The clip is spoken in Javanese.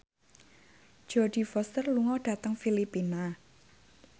Jodie Foster lunga dhateng Filipina